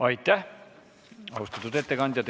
Aitäh, austatud ettekandja!